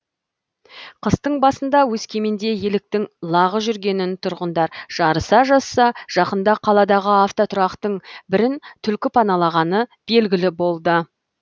қыстың басында өскеменде еліктің лағы жүргенін тұрғындар жарыса жазса жақында қаладағы автотұрақтың бірін түлкі паналағаны белгілі болды